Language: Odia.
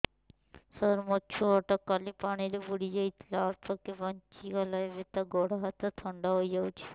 ସାର ମୋ ଛୁଆ ଟା କାଲି ପାଣି ରେ ବୁଡି ଯାଇଥିଲା ଅଳ୍ପ କି ବଞ୍ଚି ଗଲା ଏବେ ତା ଗୋଡ଼ ହାତ ଥଣ୍ଡା ହେଇଯାଉଛି